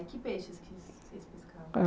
E que peixes que s, vocês pescavam?